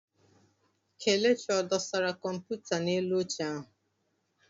Kelechi ọ dụsara kọmputa n'elu oche ahụ?